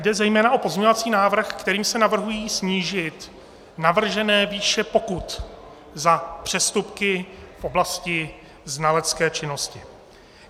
Jde zejména o pozměňovací návrh, kterým se navrhují snížit navržené výše pokut za přestupky v oblasti znalecké činnosti.